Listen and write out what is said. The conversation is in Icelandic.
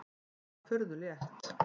Það var furðu létt.